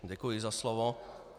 Děkuji za slovo.